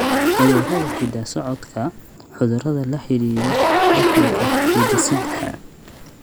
Cudurrada hidda-socodka: Cudurrada la xidhiidha dhaxalka hidde-sidaha.